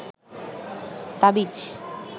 তাবিজ